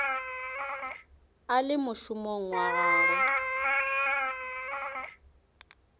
a le mošomong wa gagwe